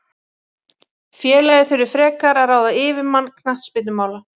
Félagið þurfi frekar að ráða yfirmann knattspyrnumála.